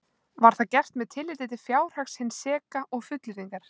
Var það gert með tilliti til fjárhags hins seka og fullyrðingar